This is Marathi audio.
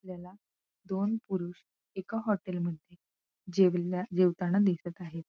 आपल्याला दोन पुरुष एका हॉटेलमध्ये जेवल्या जेवताना दिखत आहेत.